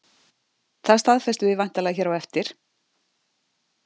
Það staðfestum við væntanlega hér á eftir?